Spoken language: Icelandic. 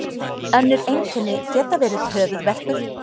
önnur einkenni geta verið höfuðverkur